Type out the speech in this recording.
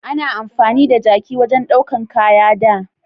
A na amfani da jaki wajen daukan kaya da